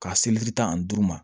Ka seleri tan ani duuru ma